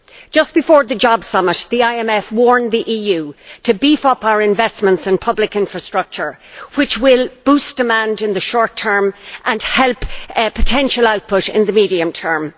Just before the job summit, the IMF warned the EU to beef up its investments in public infrastructure, which will boost demand in the short term and help potential output in the medium term.